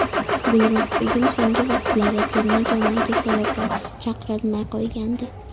Gulruhbegim so‘nggi vaqtlarda terma jamoaga sabablarsiz chaqrilmay qo‘ygandi.